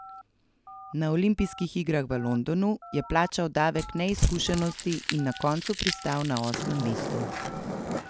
Na olimpijskih igrah v Londonu je plačal davek neizkušenosti in na koncu pristal na osmem mestu.